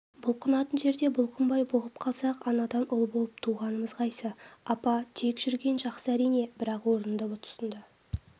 бұлқынатын жерде бұлқынбай бұғып қалсақ анадан ұл болып туғанымыз қайсы апа тек жүрген жақсы әрине бірақ орынды тұсында